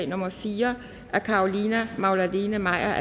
nummer fire af carolina magdalene maier